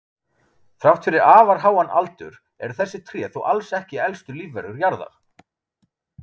Þrátt fyrir afar háan aldur eru þessi tré þó alls ekki elstu lífverur jarðar.